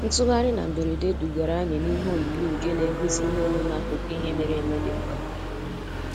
Ntugharị na mberede dugara anyị n'ihe oyiyi nke na-egosi ihe omume akụkọ ihe mere eme dị mkpa.